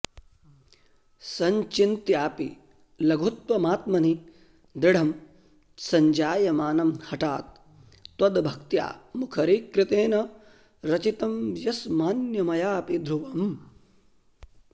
सञ्चिन्त्यापि लघुत्वमात्मनि दृढं सञ्जायमानं हठात् त्वद्भक्त्या मुखरीकृतेन रचितं यस्मान्मयापि ध्रुवम्